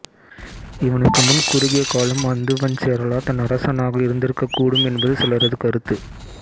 இவனுக்கு முன் குறுகிய காலம் அந்துவஞ்சேரலாதன் அரசனாக இருந்திருக்கக்கூடும் என்பது சிலரது கருத்து